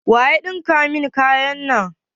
Waya ɗinka muku kayan nan?